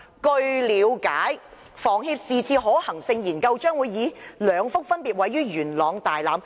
據了解，房協是次可行性研究將會以兩幅分別位於元朗大欖......